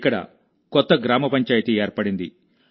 ఇక్కడ కొత్త గ్రామ పంచాయితీ ఏర్పడింది